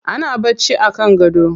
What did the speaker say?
Ana bacci a kan gado.